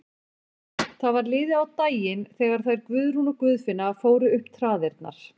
Það var liðið á daginn þegar þær Guðrún og Guðfinna fóru upp traðirnar.